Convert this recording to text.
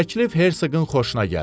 Təklif Hersqın xoşuna gəldi.